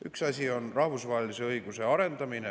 Üks asi on rahvusvahelise õiguse arendamine.